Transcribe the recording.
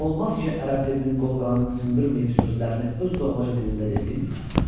Olmaz ki ərəb dilinin qol-qanadını sındırmayıb sözlərini öz doğmaca dilində desin?